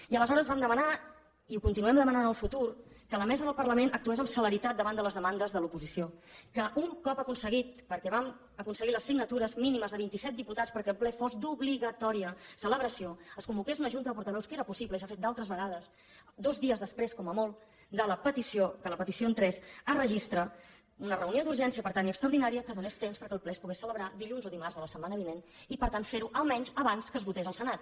i aleshores vam demanar i ho continuarem demanant en el futur que la mesa del parlament actués amb celeritat davant de les demandes de l’oposició que un cop aconseguit perquè vam aconseguir les signatures mínimes de vint i set diputats perquè el ple fos d’obligatòria celebració es convoqués una junta de portaveus que era possible i s’ha fet d’altres vegades dos dies després com a molt que la petició entrés a registre una reunió d’urgència per tant i extraordinària que donés temps perquè el ple es pogués celebrar dilluns o dimarts de la setmana vinent i per tant fer ho almenys abans que es votés al senat